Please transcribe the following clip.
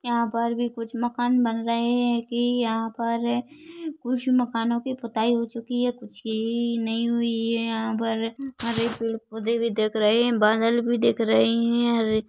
यहाँ पर भी कुछ मकान बन रहें हैं कि यहाँ पर कुछ मकानों कि पोताई हो चुकी है कुछ कि नहीं हुई है यहाँ पर हरे पेड़ पौधे भी दिख रहें हैं बादल भी दिख रही हैं और --